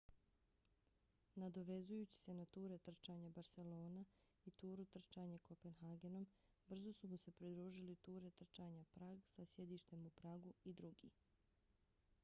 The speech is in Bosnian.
nadovezujući se na ture trčanja barcelona i turu trčanje kopenhagenom brzo su mu se pridružili ture trčanja prag sa sjedištem u pragu i drugi